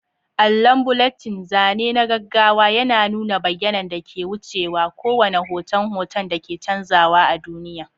Allon bulletin, zane na gaggawa, yana nuna bayanan da ke wucewa, kowane hoton hoton da ke canzawa a duniya.